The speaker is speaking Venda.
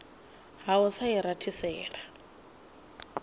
ha u sa i rathisela